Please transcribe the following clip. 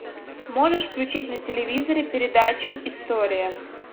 можешь включить на телевизоре передачу история